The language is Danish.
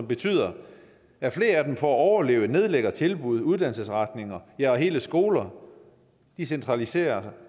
betyder at flere af dem for at overleve nedlægger tilbud uddannelsesretninger ja og hele skoler de centraliserer sig